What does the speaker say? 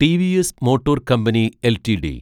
TVS motor company LTD